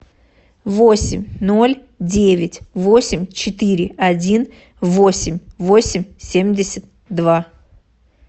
восемь ноль девять восемь четыре один восемь восемь семьдесят два